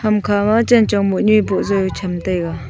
ham kha ma chan chong monu e pojai cham taiga.